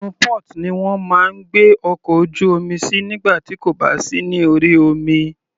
Inú port ni wọ́n máa ń gbé ọkọ̀ ojú omi sí nígbà tí kò bá sí ní orí omi.